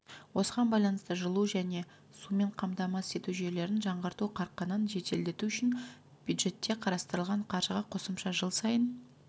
осыған байланысты жылу және сумен қамтамасыз ету жүйелерін жаңғырту қарқынын жеделдету үшін бюджетте қарастырылған қаржыға қосымша жыл сайын